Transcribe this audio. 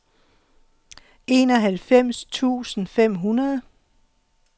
enoghalvfems tusind fem hundrede